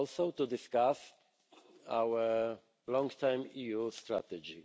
to discuss our long term EU strategy.